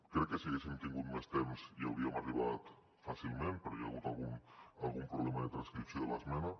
crec que si haguéssim tingut més temps hi hauríem arribat fàcilment però hi ha hagut algun problema de transcripció de l’esmena